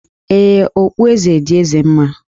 Ee, okpueze dị Eze mma